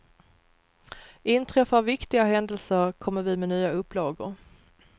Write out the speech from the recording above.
Inträffar viktiga händelser kommer vi med nya upplagor.